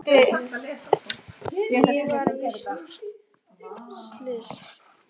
Ég var víst slys.